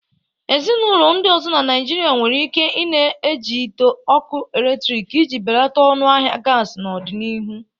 Ezinụlọ ndị ọzọ na Naịjirịa nwere ike i-na iji ite ọkụ eletrik iji belata ọnụ ahịa gasi n'ọdịnihu.